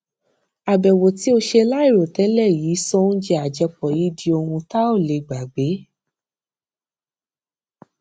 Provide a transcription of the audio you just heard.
àbèwò tí o ṣe láìròtélè yìí sọ oúnjẹ àjẹpọ yìí di ohun tá ò lè gbàgbé